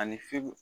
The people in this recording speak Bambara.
Ani fe